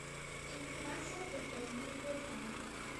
информация про треккинговые палки